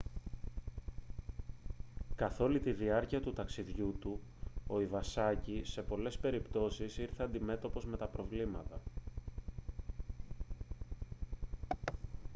καθ' όλη τη διάρκεια του ταξιδιού του ο ιβασάκι σε πολλές περιπτώσεις ήρθε αντιμέτωπος με προβλήματα